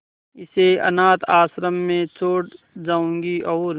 इसे अनाथ आश्रम में छोड़ जाऊंगी और